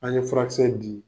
An ye furakisɛ di